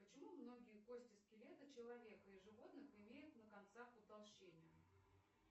почему многие кости скелета человека и животных имеют на концах утолщение